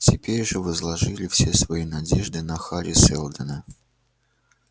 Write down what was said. теперь же возложили все свои надежды на хари сэлдона